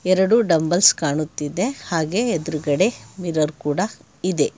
ಎರಡೂ ಡಂಬಲ್ಸ್ ಕಾಣುತ್ತಿದೆ ಹಾಗೆ ಎದುರಗಡೆ ಮಿರರ್ ಕೂಡ ಇದೆ.